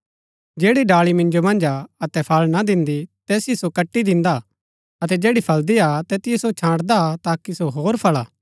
जैड़ी डाली मिन्जो मन्ज हा अतै फळ ना दिन्दी तैतिओ सो कटि दिन्दा हा अतै जैड़ी फळदी हा तैतिओ सो छांटदा हा ताकि सो होर फळा